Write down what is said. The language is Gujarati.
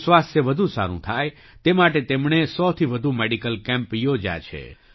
લોકોનું સ્વાસ્થ્ય વધુ સારું થાય તે માટે તેમણે 1૦૦થી વધુ મેડિકલ કૅમ્પ યોજ્યા છે